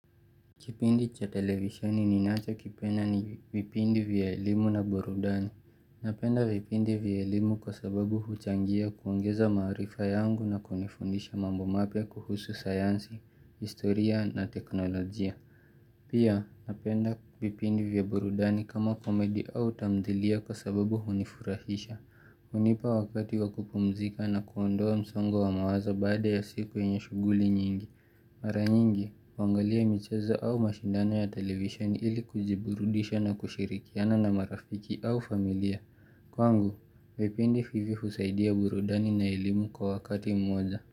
Kipindi cha televisioni ninachokipenda ni vipindi vya elimu na burudani. Napenda vipindi vya elimu kwa sababu huchangia kuongeza maarifa yangu na kunifundisha mambo mapya kuhusu sayansi, historia na teknolojia. Pia napenda vipindi vya burudani kama komedi au tamthilia kwa sababu hunifurahisha. Hunipa wakati wa kupumzika na kuondoa msongo wa mawazo baada ya siku yenye shughuli nyingi. Mara nyingi, huangalia michezo au mashindano ya televisheni ili kujiburudisha na kushirikiana na marafiki au familia. Kwangu, vipindi vivi husaidia burudani na elimu kwa wakati mmoja.